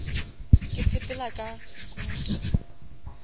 ke sepela ka sekuta